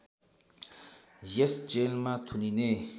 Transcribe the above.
यस जेलमा थुनिने